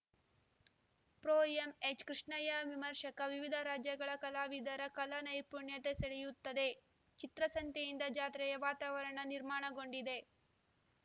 ಪ್ರೊಎಂಎಚ್‌ಕೃಷ್ಣಯ್ಯ ವಿಮರ್ಶಕ ವಿವಿಧ ರಾಜ್ಯಗಳ ಕಲಾವಿದರ ಕಲಾ ನೈಪುಣ್ಯತೆ ಸೆಳೆಯುತ್ತದೆ ಚಿತ್ರಸಂತೆಯಿಂದ ಜಾತ್ರೆಯ ವಾತಾವರಣ ನಿರ್ಮಾಣಗೊಂಡಿದೆ